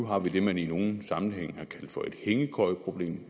har vi det man i nogle sammenhænge har kaldt for et hængekøjeproblem